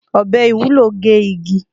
Ọbẹ Iwulo ge igi